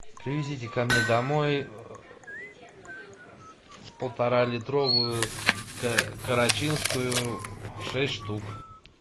привезите ко мне домой полтора литровую карачинскую шесть штук